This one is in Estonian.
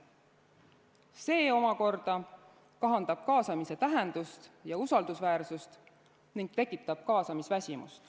See omakorda kahandab kaasamise tähendust ja usaldusväärsust ning tekitab kaasamisväsimust.